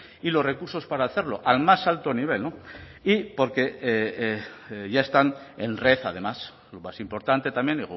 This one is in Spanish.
y los recursos para hacerlo al más alto nivel y porque ya están en red además lo más importante también